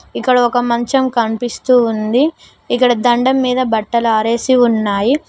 ఇక్కడ ఒక మంచం కనిపిస్తూ ఉంది ఇక్కడ దండం మీద బట్టలు ఆరేసి ఉన్నాయి.